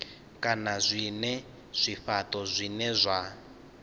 kana zwinwe zwifhato zwine zwa